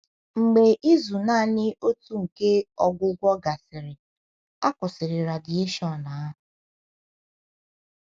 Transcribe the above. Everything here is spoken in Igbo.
Mgbe izu naanị otu nke ọgwụgwọ gasịrị, a kwụsịrị radieshon ahụ.